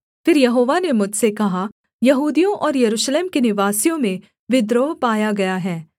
फिर यहोवा ने मुझसे कहा यहूदियों और यरूशलेम के निवासियों में विद्रोह पाया गया है